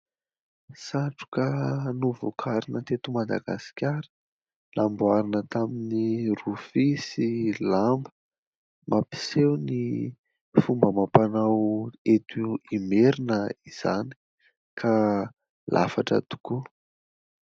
Satroka novokarina teto Madagasikara : namboarina tamin'ny rofia sy lamba. Mampiseho ny fomba amam-panao eto Imerina izany ka lafatra tokoa.